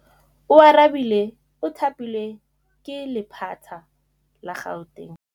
Oarabile o thapilwe ke lephata la Gauteng.